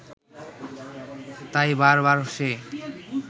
তাই বার বার সে